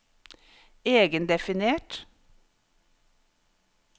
egendefinert